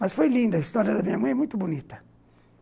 Mas foi linda, a história da minha mãe é muito bonita.